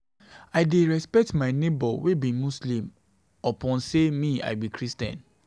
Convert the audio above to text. I dey respect my nebor wey be Muslim upon sey me I be Christian.